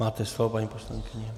Máte slovo, paní poslankyně.